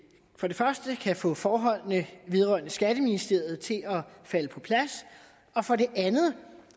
første kan få forholdene vedrørende skatteministeriet til at falde på plads og for det andet